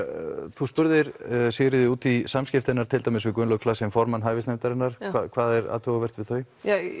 þú spurðir Sigríði út í samskipti hennar til dæmis við Gunnlaug formann hæfisnefndarinnar hvað er athugavert við þau